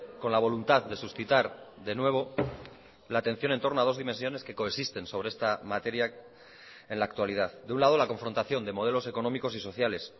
con la voluntad de suscitar de nuevo la atención en torno a dos dimensiones que coexisten sobre esta materia en la actualidad de un lado la confrontación de modelos económicos y sociales